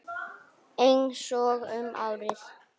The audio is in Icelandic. Einsog um árið.